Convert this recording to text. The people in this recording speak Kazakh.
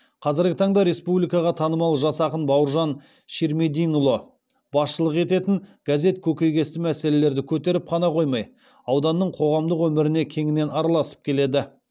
қазіргі таңда республикаға танымал жас ақын бауыржан ширмединұлы басшылық ететін газет көкейкесті мәселелерді көтеріп қана қоймай ауданның қоғамдық өміріне кеңінен араласып келеді